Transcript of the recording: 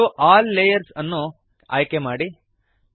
show all layers ಅನ್ನು ಆಯ್ಕೆಮಾಡಿರಿ